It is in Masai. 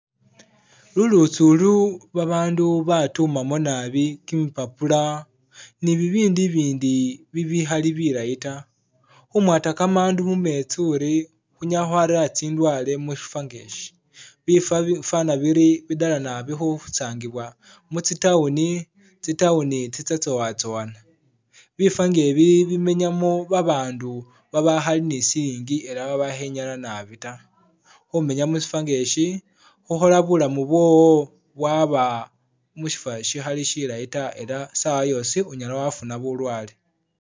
Lulutsi ulu babandu batumamu nabi kimi papula, ni bibindu ibindi bibikhali bilayi ta. Khumwata kamandu mumetsi uri khunyala khwarera tsindwale mu syifwo nga esyi. Bifwa bifwana biri bidela nabi khusangibwa mutsi town, tsi town tsitsya tsowatsowana. Bifwa nga ebi bimanyamu babandu babakhali ni silingi ela babakhenyala nabi ta. Khumenya musyifwa nga esyi khukhola bulamu bwowo bwaba musyifwa syikhali syilayi ta ela sawa yosi unyala wafuna bulwale.